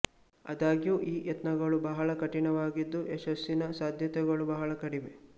ಆದಾಗ್ಯೂ ಈ ಯತ್ನಗಳು ಬಹಳ ಕಠಿಣವಾಗಿದ್ದು ಯಶಸ್ಸಿನ ಸಾಧ್ಯತೆಗಳು ಬಹಳ ಕಡಿಮೆ